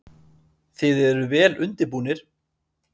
Símon: Þið eruð vel undirbúnir?